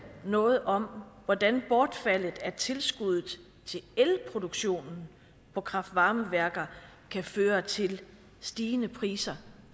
noget om hvordan bortfaldet af tilskuddet til elproduktionen på kraft varme værker kan føre til stigende priser